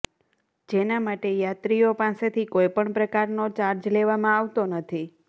જેના માટે યાત્રીઓ પાસેથી કોઈપણ પ્રકારનો ચાર્જ લેવામાં આવતો નથી